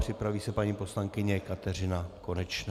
Připraví se paní poslankyně Kateřina Konečná.